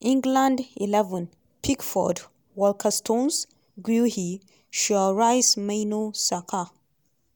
england xi: pickford; walker stones guehi; shaw rice mainoo saka;